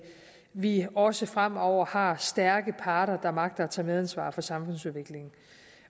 vi også fremover har stærke parter der magter at tage medansvar for samfundsudviklingen